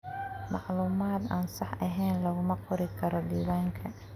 Macluumaad aan sax ahayn laguma qori karo diiwaanka.